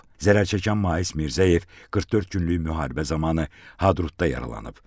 Zərər çəkən Mais Mirzəyev 44 günlük müharibə zamanı Hadrutda yaralanıb.